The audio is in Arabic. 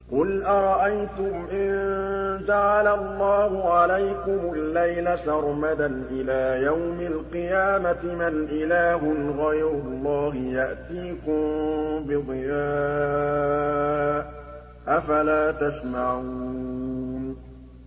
قُلْ أَرَأَيْتُمْ إِن جَعَلَ اللَّهُ عَلَيْكُمُ اللَّيْلَ سَرْمَدًا إِلَىٰ يَوْمِ الْقِيَامَةِ مَنْ إِلَٰهٌ غَيْرُ اللَّهِ يَأْتِيكُم بِضِيَاءٍ ۖ أَفَلَا تَسْمَعُونَ